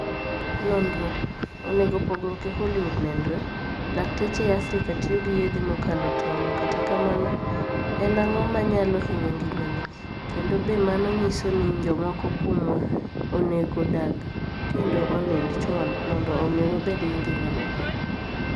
noniro: Onige pogruok e Hollywood noniro: Lakteche e Afrika tiyo gi yedhe mokalo tonig' Kata kamano, eni anig'o maniyalo hiniyo nigimanii, kenido be mano niyiso nii jomoko kuomwa oni ego odag kenido oniinid choni monido omi wabed gi nigima maber?